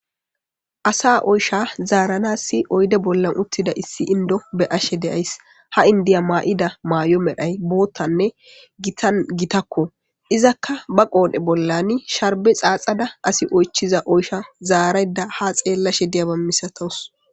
asa oysha zaarana si oyde bollan uttida issi indo be ashe deyays ha indiya maa7ida maay7o medhay boottanne gitan gitakko izakka ba qoone bollani sharbe xaaxada asi oychiza oysha zaarayda ha xeellashe diyaba misatos